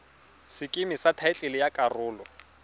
sekeme sa thaetlele ya karolo